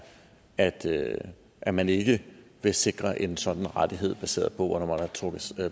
at at man ikke vil sikre en sådan rettighed baseret på